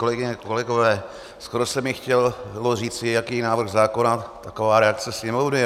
Kolegyně, kolegové, skoro se mi chtělo říci, jaký je návrh zákona, taková je reakce sněmovny.